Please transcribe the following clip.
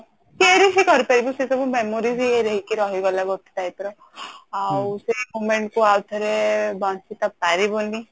cherish ବି କରି ପାରିବୁ ସେଇ ସବୁ memory ବି ହେଇକି ରହିବ ଗୋଟେ type ର ଆଉ ସେଇ moment କୁ ଆଉ ଥରେ ବଞ୍ଚି ତ ପାରିବୁନି